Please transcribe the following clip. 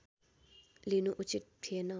लिनु उचित थिएन